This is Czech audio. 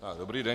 Dobrý den.